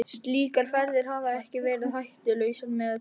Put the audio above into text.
Slíkar ferðir hafa ekki verið hættulausar með öllu.